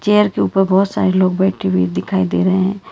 Chair के ऊपर बहोत सारे लोग बैठे हुए दिखाई दे रहे हैं।